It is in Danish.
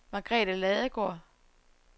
Margrethe Ladegaard